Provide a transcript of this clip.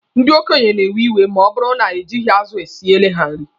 Ndị okenye na-ewe iwe ma ọ bụrụ na ejighi azụ siele ha nri.